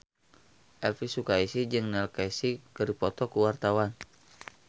Elvy Sukaesih jeung Neil Casey keur dipoto ku wartawan